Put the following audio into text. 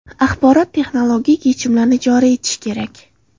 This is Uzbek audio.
Axborot-texnologik yechimlarni joriy etish kerak.